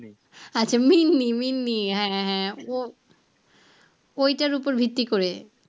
আচ্ছা মিম্মি মিম্মি হ্যাঁ হ্যাঁ ও ওইটার ওপর ভিত্তি করে?